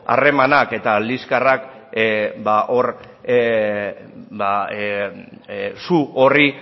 harremanak eta liskarrak su horri